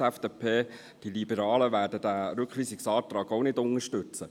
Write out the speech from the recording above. Die FDP, die Liberalen, werden diesen Rückweisungsantrag auch nicht unterstützen.